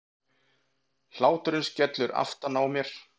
Hláturinn skellur aftan á mér.